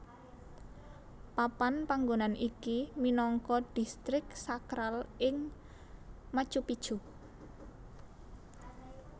Papan panggonan iki minangka Distrik Sakral ing Machu Picchu